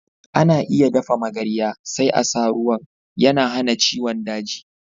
Ana iya dafa magarya, sai a sa ruwan. Yana hana ciwon daji.